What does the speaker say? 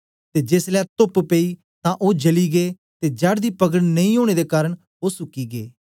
ते जेसलै तोप्प पेई तां ओ जली गै ते जड़ दी पकड़ नेई ओनें दे कारन ओ सुकी गै